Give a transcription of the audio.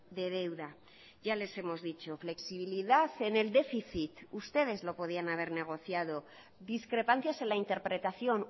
de deuda ya les hemos dicho flexibilidad en el déficit ustedes lo podían haber negociado discrepancias en la interpretación